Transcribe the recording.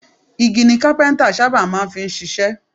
Igi ni Kápẹ́ńtà sábà máa ń fi ṣiṣẹ́.